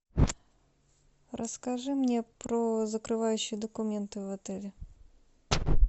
расскажи мне про закрывающие документы в отеле